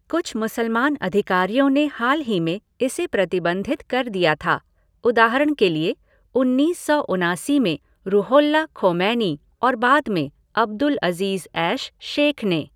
कुछ मुसलमान अधिकारियों ने हाल ही में इसे प्रतिबंधित कर दिया था, उदाहरण के लिए, उन्नीस सौ उनासी में रुहोल्लाह खोमैनी और बाद में अब्दुल अज़ीज़ ऐश शेख ने।